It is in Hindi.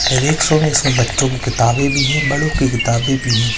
अधिक सो मे सो बच्चो की किताबे भी है बड़ो की किताबे भी है।